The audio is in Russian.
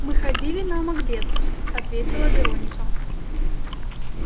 мы ходили на макбет ответила вероника